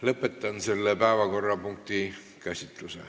" Lõpetan selle päevakorrapunkti käsitluse.